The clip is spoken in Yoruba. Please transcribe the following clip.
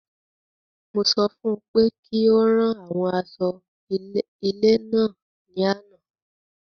Mo sọ fún pé kí ó rán àwọn aṣọ ilé náà ní àna